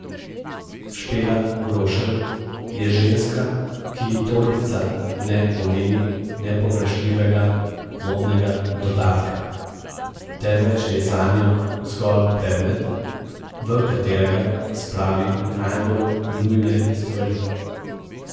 Špela Grošelj je ženska, ki ji torbica ne pomeni nepogrešljivega modnega dodatka, temveč je zanjo zgolj predmet, v katerega spravi najbolj nujne stvari.